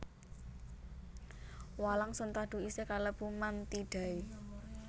Walang sentadu isih kalebu Mantidae